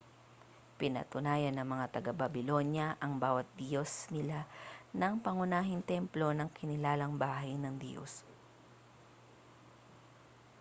pinatayuan ng mga taga babylonya ang bawat diyos nila ng pangunahing templo na kinilalang bahay ng diyos